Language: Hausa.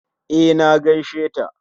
E, na gaisheta